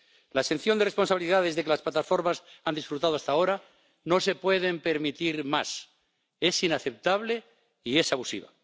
La exención de responsabilidades de que las plataformas han disfrutado hasta ahora no se puede permitir más, es inaceptable y es abusiva.